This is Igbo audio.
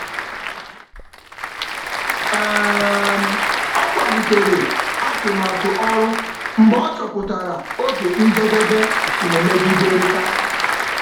Ọ kwalitere atụmatụ ọrụ mgbe ọ chọpụtara oge njedebe na-emegiderịta.